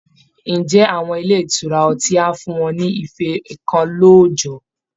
Ǹjẹ́ àwọn ilé ìtura ọtí á fún wọn ní ife kan lóójọ̀ọ́?